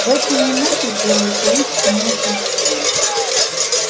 в эту минуту белый клык кинулся на него